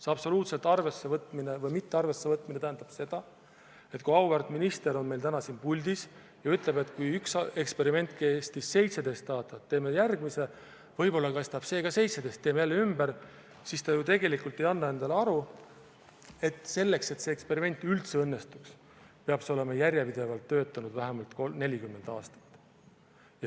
See absoluutselt arvesse mittevõtmine tähendab seda, et kui auväärt minister on meil täna siin puldis ja ütleb, et üks eksperiment kestis 17 aastat, teeme järgmise, võib-olla kestab see ka 17 aastat, teeme jälle ümber, siis ta ju tegelikult ei anna endale aru, et selleks, et see eksperiment üldse õnnestuks, peab see olema järjepidevalt töötanud vähemalt 30–40 aastat.